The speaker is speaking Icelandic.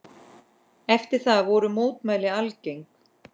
Eftir það voru mótmæli algeng.